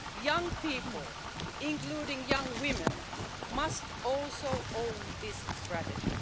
Young people, including young women, must also own this strategy.